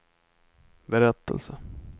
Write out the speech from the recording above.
berättelse